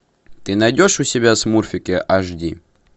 ты найдешь у себя смурфики аш ди